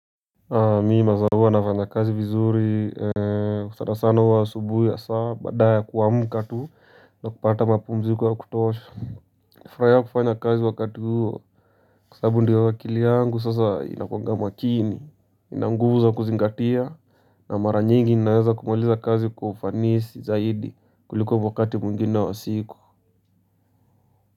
Mimi masaa huwa nafanya kazi vizuri sanasana huwa asubuhi hasa baada ya kuamka tu na kupata mapumziko ya kutosha. Nafurahia kufanya kazi wakati huo kwa sababu ndio akili yangu sasa inakuanga makini inanguvu za kuzingatia na mara nyingi ninaweza kumaliza kazi kwa ufanisi zaidi kuliko wakati mwingine wa siku.